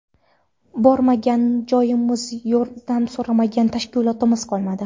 Bormagan joyimiz, yordam so‘ramagan tashkilotimiz qolmadi.